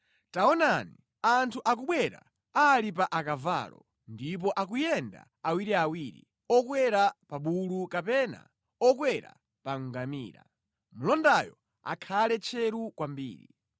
Taonani, anthu akubwera ali pa akavalo ndipo akuyenda awiriawiri, okwera pa bulu kapena okwera pa ngamira, mlondayo akhale tcheru kwambiri.”